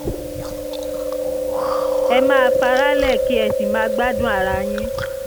ẹ má faraálẹ̀ kí ẹ sì máa gbádùn ara yín